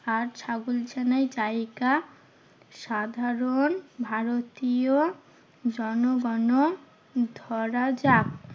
আর ছাগল ছানার জায়গা সাধারণ ভারতীয় জনগণ ধরা যাক।